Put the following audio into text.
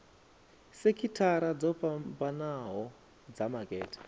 sekithara dzo fhambanho dza makete